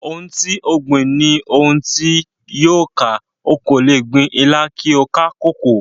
Ohùn ti o gbìn, ni ohùn ti o yóò ká, o ko le gbìn Ìlà kí a ká koko.